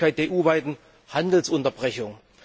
die Möglichkeit der EU weiten Handelsunterbrechung.